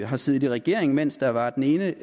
har siddet i regering mens der var den ene